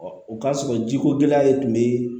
o k'a sɔrɔ jiko gɛlɛya de tun bɛ